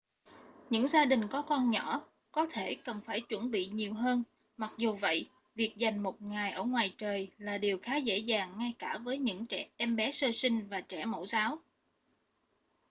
những gia đình có con nhỏ có thể cần phải chuẩn bị nhiều hơn mặc dù vậy việc dành một ngày ở ngoài trời là điều khá dễ dàng ngay cả với những em bé sơ sinh và trẻ mẫu giáo